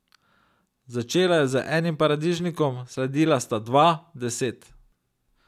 Začela je z enim paradižnikom, sledila sta dva, deset ...